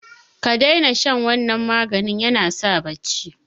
kadaina shan wannan maganin yanasa bacci